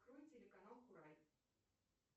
открой телеканал курай